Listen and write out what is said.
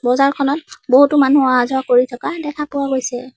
চোতালখনত বহুতো মানুহ অহা যোৱা কৰি থকা দেখা পোৱা গৈছে।